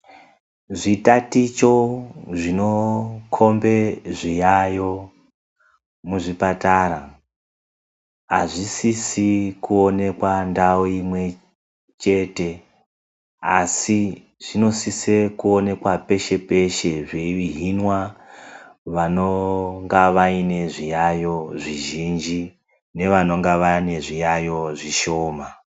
Zvitaticho zvinokhombe zviyaeyo muzvipatara ,azvisisi kuonekwa ndawu imwe chete asi zvinosise kuonekwa peshe peshe zveihinwa vanonge vane zviyayo zvizhinji nevanonge vane zviyaeyo zvishoma.